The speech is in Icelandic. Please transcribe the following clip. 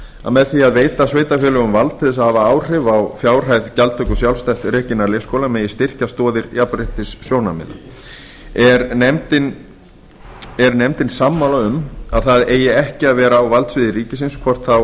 að með því að veita sveitarfélögum vald til að hafa áhrif á fjárhæð gjaldtöku sjálfstætt rekinna leikskóla megi styrkja stoðir jafnréttissjónarmiða er nefndin sammála um að það eigi ekki að vera á valdsviði ríkisins